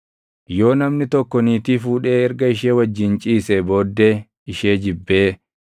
Yoo namni tokko niitii fuudhee erga ishee wajjin ciisee booddee ishee jibbee,